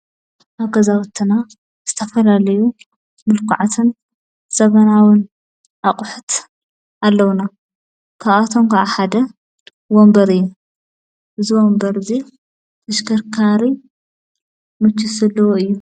ኣብ ገዛወተና ዝተፈላለዩ ምልቁዓትን ዘበናውን ኣቝሕት ኣለዉና ክኣቶም ዓ ሓደ ወምበር ዝወንበርእዙ ተሽከርካሪ ምቾት ዘለዎ እዩ።